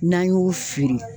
N'an y'u feere